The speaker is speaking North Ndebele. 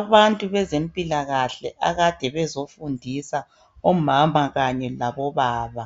Abantu bezempilakahle akade bezofundisa omama kanye labobaba,